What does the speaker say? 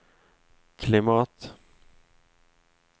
klimat